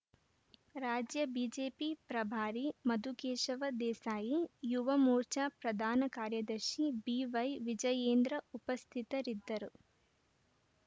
ರಾಜ್ಯ ಬಿಜೆಪಿ ಪ್ರಭಾರಿ ಮಧುಕೇಶವ ದೇಸಾಯಿ ಯುವ ಮೋರ್ಚಾ ಪ್ರಧಾನ ಕಾರ್ಯದರ್ಶಿ ಬಿವೈ ವಿಜಯೇಂದ್ರ ಉಪಸ್ಥಿತರಿದ್ದರು